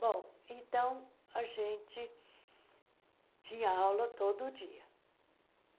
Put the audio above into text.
Bom, então, a gente tinha aula todo dia.